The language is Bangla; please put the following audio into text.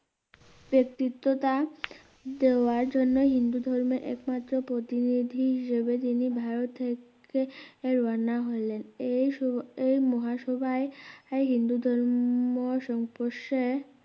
কোর্তিত্বতা দেওয়ার জন্য হিন্দু ধর্মে একমাত্র প্রতিনিধি হিসাবে তিনি ভারত থেকে রওনা হলেন এই সো এই মহাসভায়~আই হিন্দু ধর্ম সংস্পর্শে